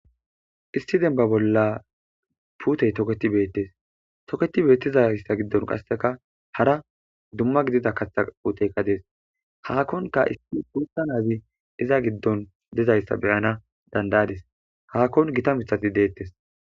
Issi demba bola pute toketi betes toketi betizaysa gidon qaseka hara duma gidida katha puteyka des hahonka issi guta nazi iza gidon dizaysa be'anas danda'ades hahon gita mitati detes.